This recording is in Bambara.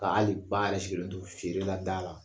Ka hali ba yɛrɛ sigilen to feere la da la.